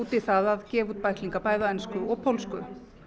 í það að gefa út bæklinga bæði á ensku og pólsku